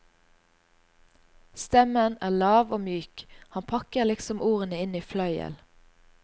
Stemmen er lav og myk, han pakker liksom ordene inn i fløyel.